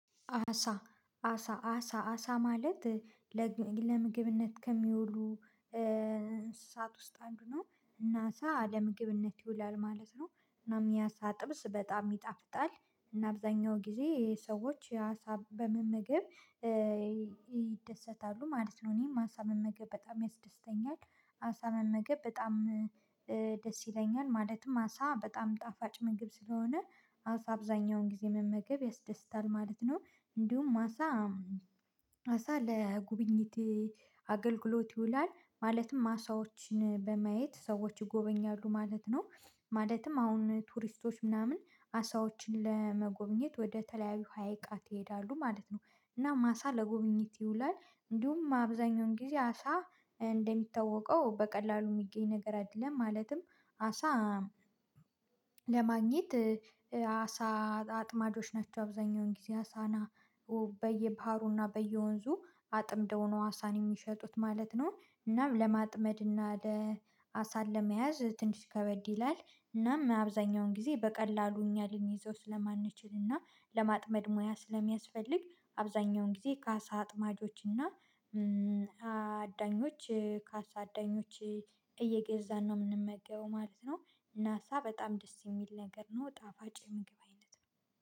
አሳ አሳ አሳ አሳ ማለት ለምግብነት ከሚውሉ እንስሳት ውስጥ አንዱ ነው እና አሳ ለምግብነት ይውላል ማለት ነው። እናም የአሳ ጥብስ በጣም ይጣፍጣል እና አብዛኛው ጊዜ ሰዎች የአሳ በመመገብ ይደሰታሉ ማለት ነው እኔም አሳ መመገብ በጣም ያስደስተኛል። አሳ መመገብ በጣም ደስ ይለኛል ማለትም አሳ በጣም ጣፋጭ ምግብ ስለሆነ አሳ አብዛኛውን ጊዜ መመገብ ያስደስታል ማለት ነው። እንዲሁም አሳ አሳ ለጉብኝት አገልግሎት ይውላል ማለትም አሳዎችን በማየት ሰዎች ይጎበኛሉ ማለት ነው። ማለትም አሁን ቱሪስቶች ምናምን አሳዎችን ለመጎብኘት ወደ ተለያዩ ሀይቃት ይሄዳለሉ ማለት ነው። እናም አሳ ለጉብኘት ይውላል እንዲሁም አብዛኛውን ጊዜ አሳ እንደሚታወቀው በቀላሉ የሚገኝ ነገር አይደለም። ማለትም አሳ ለማግኘት አሳ አጥማጆች ናቸው አብዛኛውን ጊዜ አሳና በየባህሩና በየወንዙ አጥምደው ነው አሳን የሚሸጡት ማለት ነው። እናም ለማጥመድና ለ አሳን ለመያዝ ትንሽ ከበድ ይላል እናም አብዛኛውን ጊዜ በቀላሉ እኛ ልንይዘው ስለማንችል እና ለማጥመድ ሙያ ስለሚያስፈልግ አብዛኛውን ጊዜ ከአሳ አጥማጆች እና አዳኞች ከአሳ አዳኞች እየገዛን ነው የምንመገበው ማለት ነው። እና አሳ በጣም ደስ የሚል ነገር ነው ጣፋጭ የምግብ አይነት ነው።